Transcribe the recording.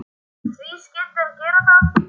Og því skyldi hann gera það.